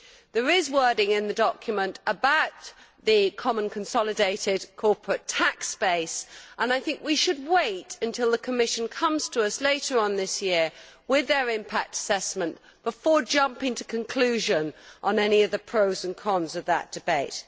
There is wording in the document about the common consolidated corporate tax base, and I think we should wait until the Commission comes to us later on this year with their impact assessment before jumping to a conclusion on any of the pros and cons of that debate.